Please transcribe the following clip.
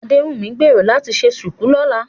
Adéwùnmí ń gbèrò láti ṣe ṣùkú lọ́la